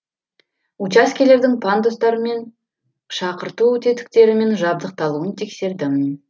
учаскелердің пандустармен тетіктерімен жабдықталуын тексердім